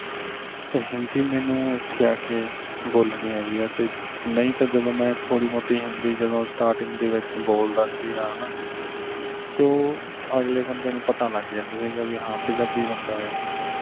ਤੇ ਹਿੰਦੀ ਮੈਨੂੰ ਐਥੇ ਆਕੇ ਬੋਲਣੀ ਆਈ ਆ ਤੇ ਨਹੀਂ ਤਾਂ ਜਦੋਂ ਥੋੜੀ ਮੋਟੀ ਹਿੰਦੀ ਜਦੋਂ starting ਵਿਚ ਬੋਲਦਾ ਸੀਗਾ ਹਣਾ ਤੇ ਉਹ ਅਗਲੇ ਬੰਦੇ ਨੂੰ ਪਤਾ ਲੱਗ ਜਾਂਦਾ ਸੀਗਾ ਵੀ ਪੰਜਾਬੀ ਬੰਦਾ ਇਹ